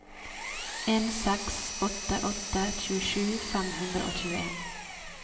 en seks åtte åtte tjuesju fem hundre og tjueen